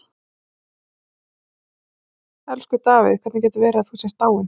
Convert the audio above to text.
Elsku Davíð, hvernig getur það verið að þú sért dáinn?